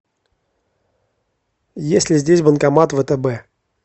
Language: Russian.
есть ли здесь банкомат втб